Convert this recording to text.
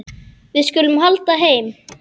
Við skulum halda heim.